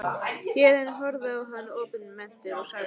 Héðinn horfði á hann opinmynntur og sagði